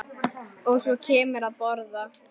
Og svo kemurðu að borða!